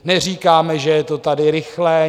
Neříkáme, že je to tady rychlé.